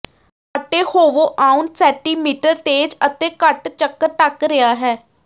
ਆਟੇ ਹੋਵੋ ਆਉਣ ਸੈਟੀਮੀਟਰ ਤੇਜ਼ ਅਤੇ ਕੱਟ ਚੱਕਰ ਢਕ ਰਿਹਾ ਹੈ